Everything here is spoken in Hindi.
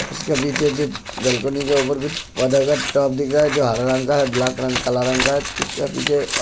इसके पीछे जो बालकनी के ऊपर कुछ पौधा का टॉप दिख रा है जो हरा रंग का ब्लैक काला रंग का है इसके पीछे --